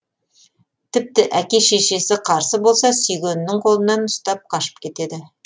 тіпті әке шешесі қарсы болса сүйгенінің қолынан ұстап қашып кетеді